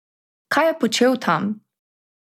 Kaj je počel tam?